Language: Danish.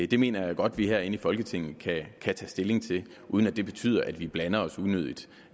det mener jeg godt vi herinde i folketinget kan tage stilling til uden at det betyder at vi blander os unødigt